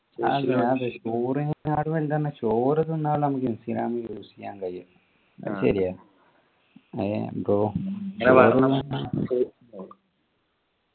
ചോറിനെക്കാട്ടിലും വലുതാണ് ചോറ് തിന്നാൽ നമുക്ക് ഇൻസ്റ്റാഗ്രാം use ചെയ്യാൻ കഴിയുക ശരിയാ യാ ബ്രോ